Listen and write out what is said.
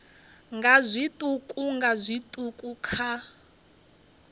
nga zwiṱuku nga zwiṱuku kha